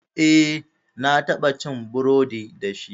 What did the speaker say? Eh, na taɓa ci burodi dashi.